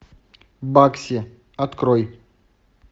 бакси открой